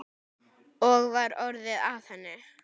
Og var orðið að henni?